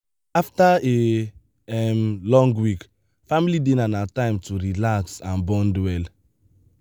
after a um long week family dinner na time to relax and bond well.